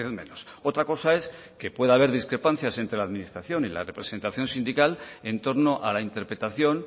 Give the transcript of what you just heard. menos otra cosa es que pueda haber discrepancias entre la administración y la representación sindical en torno a la interpretación